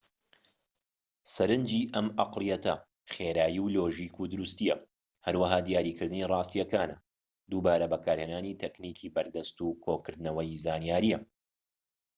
سەرنجی ئەم ئەقڵیەتە خێرایی و لۆژیک و دروستییە هەروەها دیاریکردنی ڕاستییەکانە دووبارە بەکارهێنانی تەکنیکی بەردەست و کۆکردنەوەی زانیاریە